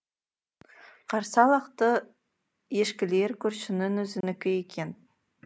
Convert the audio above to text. қарса лақты ешкілер көршінің өзінікі екен